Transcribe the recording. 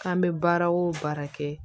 K'an bɛ baara o baara kɛ